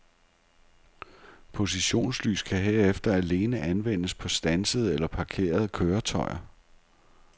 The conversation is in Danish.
Positionslys kan herefter alene anvendes på standsede eller parkerede køretøjer.